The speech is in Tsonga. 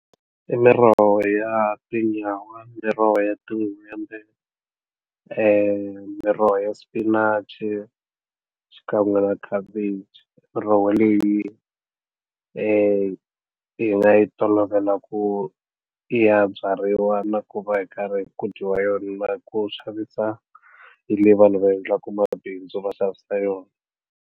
I miroho ya tinyawa miroho ya tin'hwembe miroho ya spinach i xikan'we na khabichi miroho leyi hi nga yi tolovela ku i ya byariwa na ku va hi karhi ku dyiwa yona ku xavisa leyi vanhu va endlaka mabindzu va xavisa yona.